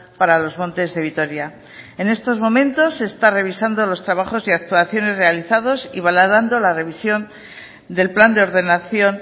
para los montes de vitoria en estos momentos se está revisando los trabajos y actuaciones realizados y valorando la revisión del plan de ordenación